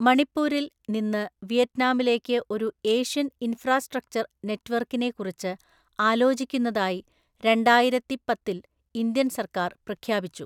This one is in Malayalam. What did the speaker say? മണിപ്പൂരിൽ നിന്ന് വിയറ്റ്നാമിലേക്ക് ഒരു ഏഷ്യൻ ഇൻഫ്രാസ്ട്രക്ചർ നെറ്റ്‌വർക്കിനെ കുറിച്ച് ആലോചിക്കുന്നതായി രണ്ടായിരത്തിപ്പത്തില്‍ ഇന്ത്യൻ സർക്കാർ പ്രഖ്യാപിച്ചു.